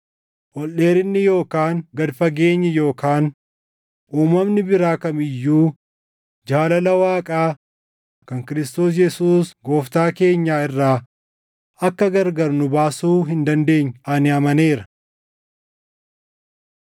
ol dheerinni yookaan gad fageenyi yookaan uumamni biraa kam iyyuu jaalala Waaqaa kan Kiristoos Yesuus Gooftaa keenyaa irraa akka gargar nu baasuu hin dandeenye ani amaneera.